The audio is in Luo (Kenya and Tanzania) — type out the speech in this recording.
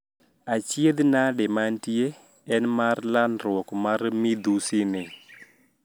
Achiedh nadi mantie en mar landruok mar midhusi ni